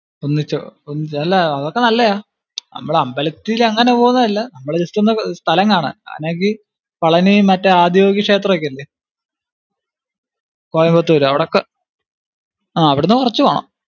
ഒന്നിച്ചോ ഒന്നിച്ചു അഹ് അതൊക്കെ നല്ലതാ. നമ്മൾ അമ്പലത്തിൽ അങ്ങിനെ പോന്നതല്ല നമ്മൾ ജസ്റ്റ് ഒന്ന് സ്ഥലം കാണാൻ അല്ലെങ്കിൽ പളനി മറ്റേ ആദിയോഗി ക്ഷേത്രമൊക്കെ ഇല്ലിയോ കോയമ്പത്തൂര് അവിടൊക്കെ, ആ അവിടുന്ന് കുറച്ചു പോണം